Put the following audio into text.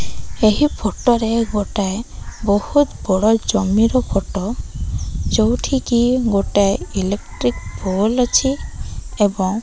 ଏହି ଫଟୋ ରେ ଗୋଟାଏ ବହୁତ୍ ବଡ ଜମିର ଫଟୋ ଯୋଉଠିକି ଗୋଟାଏ ଇଲେଟ୍ରିକ ପୋଲ ଅଛି ଏବଂ --